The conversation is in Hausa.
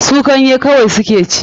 Su ganye kawai su ke ci.